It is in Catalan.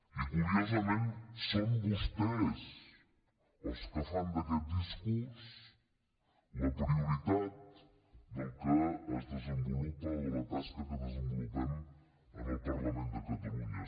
i curiosament són vostès els que fan d’aquest discurs la prioritat del que es desenvolupa o de la tasca que desenvolupem en el parlament de catalunya